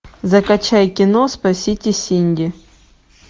закачай кино спасите синди